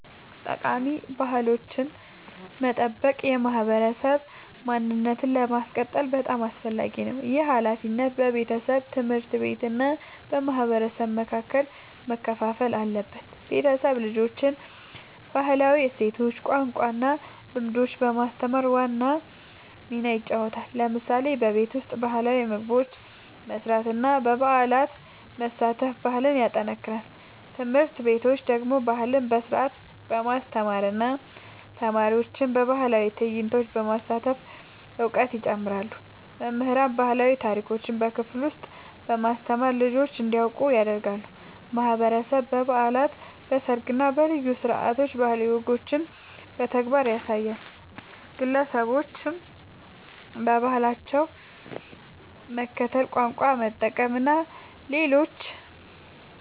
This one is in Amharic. ጠቃሚ ባህላዊ ወጎችን መጠበቅ የማህበረሰብ ማንነትን ለማስቀጠል በጣም አስፈላጊ ነው። ይህ ሃላፊነት በቤተሰብ፣ ትምህርት ቤት እና በማህበረሰብ መካከል መከፋፈል አለበት። ቤተሰብ ልጆችን ባህላዊ እሴቶች፣ ቋንቋ እና ልምዶች በማስተማር ዋና ሚና ይጫወታል። ለምሳሌ በቤት ውስጥ ባህላዊ ምግቦች መስራት እና በበዓላት መሳተፍ ባህልን ያጠናክራል። ትምህርት ቤቶች ደግሞ ባህልን በስርዓት በማስተማር እና ተማሪዎችን በባህላዊ ትዕይንቶች በማሳተፍ እውቀት ያስጨምራሉ። መምህራን ባህላዊ ታሪኮችን በክፍል ውስጥ በማስተማር ልጆች እንዲያውቁ ያደርጋሉ። ማህበረሰብ በበዓላት፣ በሰርግ እና በልዩ ስነ-ስርዓቶች ባህላዊ ወጎችን በተግባር ያሳያል። ግለሰቦችም በባህላቸው መከተል፣ ቋንቋ መጠቀም እና ለሌሎች